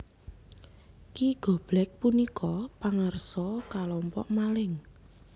Ki Goblek punika pangarsa kalompok maling